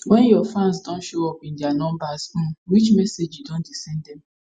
wen your fans don show up in dia numbers um which message you don dey send dem